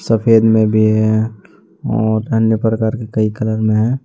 सफेद में भी है और अन्य प्रकार के कई कलर में है।